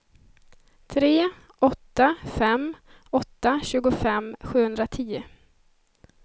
tre åtta fem åtta tjugofem sjuhundratio